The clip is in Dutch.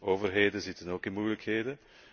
Overheden zitten ook in moeilijkheden.